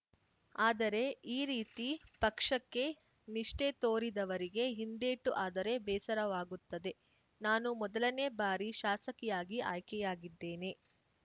ಆದರೆ ಈ ರೀತಿ ಪಕ್ಷಕ್ಕೆ ನಿಷ್ಠೆ ತೋರಿದವರಿಗೆ ಹಿಂದೇಟು ಆದರೆ ಬೇಸರವಾಗುತ್ತದೆ ನಾನು ಮೊದಲನೇ ಬಾರಿ ಶಾಸಕಿಯಾಗಿ ಆಯ್ಕೆಯಾಗಿದ್ದೇನೆ